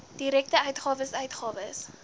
direkte uitgawes uitgawes